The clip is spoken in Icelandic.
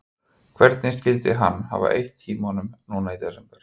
Hvernig skyldi hann hafa eytt tímanum núna í desember?